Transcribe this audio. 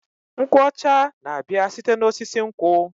Nkwụ ọcha na-abịa site n'osisi nkwụ.